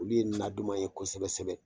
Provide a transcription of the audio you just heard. Olu ye na duman ye kosɛbɛ kosɛbɛ